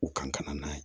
U kan ka na n'a ye